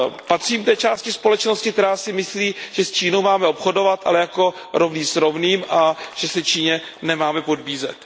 Patřím k té části společnosti, která si myslí, že s Čínou máme obchodovat, ale jako rovný s rovným, a že se Číně nemáme podbízet.